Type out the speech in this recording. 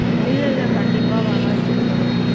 இல்ல இல்ல கண்டிப்பா வராது sir.